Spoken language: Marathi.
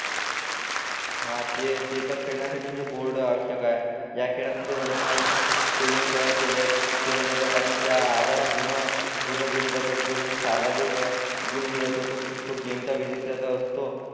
हा ते ते तर खेळण्यासाठी म्हणजे बोर्ड आवश्यक आहे या खेळात म्हणजे वर्नामालेतून स्पेलिंग तयार केल्या केल्या जातात आणि त्या आधारे पूर्ण पूर्ण दिले जातात जो म्हणजे सार्वाधिक गुण मिळवतो तो गेमचा विजेता तर असतो